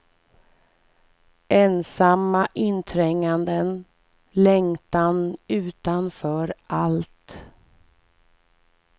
Ensamma intränganden, längtan utanför allt.